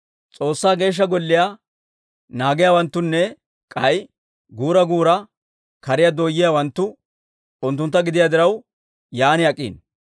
S'oossaa Geeshsha Golliyaa naagiyaawanttunne k'ay guura guura kariyaa dooyiyaawanttu unttuntta gidiyaa diraw, yaan ak'iino.